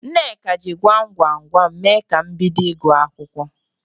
Nneka jị gwam gwam gwam mee ka m bido ịgụ akwụkwọ.